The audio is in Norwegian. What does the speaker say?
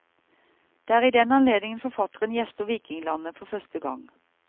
Det er i den anledning forfatteren gjester vikinglandet, for første gang.